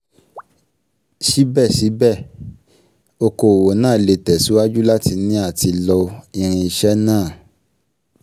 Síbẹ̀síbẹ̀, okòwò náà lè tẹ̀síwájú láti ní àti lo irinṣẹ́ náà